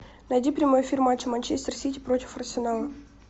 найди прямой эфир матча манчестер сити против арсенала